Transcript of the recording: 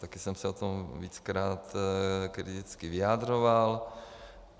Také jsem se o tom víckrát kriticky vyjadřoval.